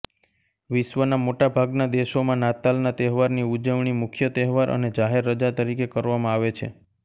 વિશ્વના મોટાભાગના દેશોમાં નાતાલના તહેવારની ઉજવણી મુખ્ય તહેવાર અને જાહેર રજા તરીકે કરવામાં આવે છે